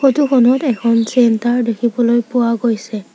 Photo খনত এখন চেন্টাৰ দেখিবলৈ পোৱা গৈছে।